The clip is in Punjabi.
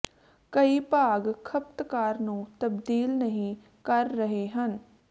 ਕਈ ਭਾਗ ਖਪਤਕਾਰ ਨੂੰ ਤਬਦੀਲ ਨਹੀ ਕਰ ਰਹੇ ਹਨ